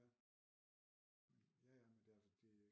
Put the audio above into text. Ja ja ja men altså det